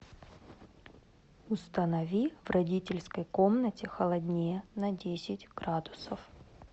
установи в родительской комнате холоднее на десять градусов